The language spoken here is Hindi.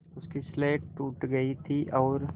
उसकी स्लेट टूट गई थी और